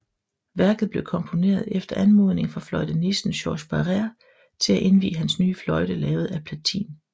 Værket blev komponeret efter anmodning fra fløjtenisten Georges Barrère til at indvie hans nye fløjte lavet af platin